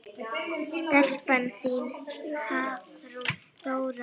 Stelpan þín, Hafrún Dóra.